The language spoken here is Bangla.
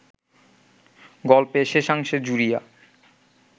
গল্পের শেষাংশে জুড়িয়া